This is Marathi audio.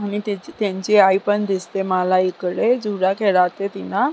आणि त्यांची आई पण दिसते मला इकडे झुला --